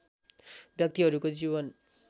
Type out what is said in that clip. व्यक्तिहरूको जीवन